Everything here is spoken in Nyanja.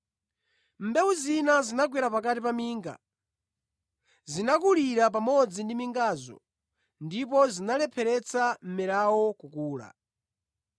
Mbewu zina zinagwera pakati pa minga, zinakulira pamodzi ndi mingazo ndipo zinalepheretsa mmerawo kukula.